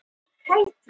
Hvíl í ró.